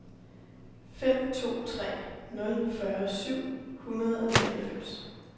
fem to tre nul fyrre syv hundrede og nioghalvfems